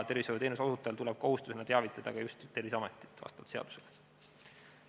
Tervishoiuteenuse osutajal tuleb kohustuslikult vastavalt seadusele teavitada Terviseametit.